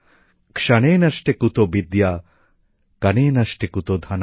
ক্ষণে নষ্টে কুতো বিদ্যা কণে নষ্টে কুতো ধনম